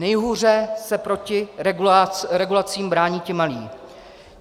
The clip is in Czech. Nejhůře se proti regulacím brání ti malí.